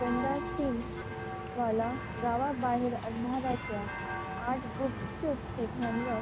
गंडा सिंग वालाच्या गावाबाहेर अंधाराच्या आत गुपचूप तिघांवर